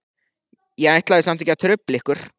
Ég ætlaði samt ekki að trufla ykkur.